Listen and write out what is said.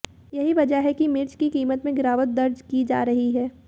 यही वजह है कि मिर्च की कीमत में गिरावट दर्ज की जा रही है